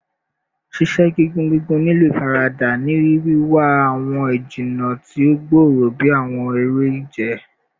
Ṣiṣe gigun gigun nilo ifarada, ni wiwa awọn ijinna ti o gbooro bi awọn ere-ije